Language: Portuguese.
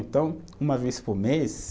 Então, uma vez por mês